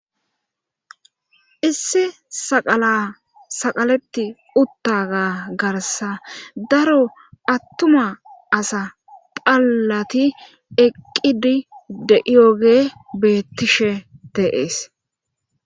Issi saqala saqaletti uttaga garsa daro attuma asa phallati eqqidi deiyoge beettishe dees.